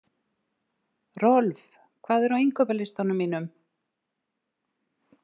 Rolf, hvað er á innkaupalistanum mínum?